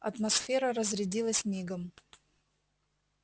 атмосфера разрядилась мигом